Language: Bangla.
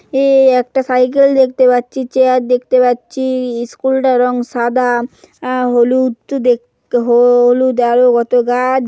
এই একটা সাইকেল দেখতে পাচ্ছি চেয়ার দেখতে পাচ্ছি স্কুল টার রঙ সাদা আ- হলুদ তো দেখ হলুদ আরো কত গাছ।